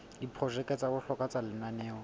diprojeke tsa bohlokwa tsa lenaneo